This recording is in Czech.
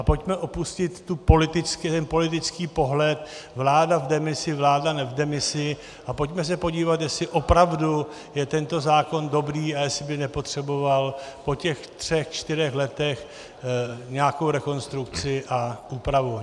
A pojďme opustit ten politický pohled, vláda v demisi, vláda ne v demisi, a pojďme se podívat, jestli opravdu je tento zákon dobrý a jestli by nepotřeboval po těch třech čtyřech letech nějakou rekonstrukci a úpravu.